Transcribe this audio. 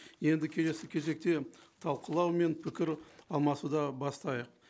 енді келесі кезекте талқылау мен пікір алмасуды бастайық